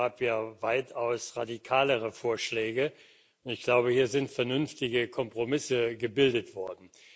Es gab ja weitaus radikalere Vorschläge, aber hier sind vernünftige Kompromisse gebildet worden.